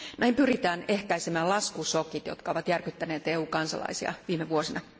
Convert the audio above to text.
Näin pyritään ehkäisemään laskushokit, jotka ovat järkyttäneet EU kansalaisia viime vuosina.